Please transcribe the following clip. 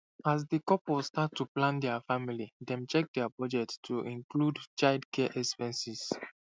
as di couple start to plan dia family dem check dia budget to include childcare expenses